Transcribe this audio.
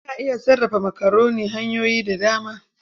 Ana iya sarrafa makaroni hanyoyi da dama.